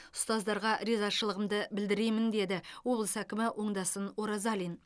ұстаздарға ризашылығымды білдіремін деді облыс әкімі оңдасын оразалин